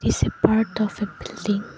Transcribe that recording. its a part of a building.